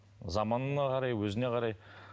заманына қарай өзіне қарай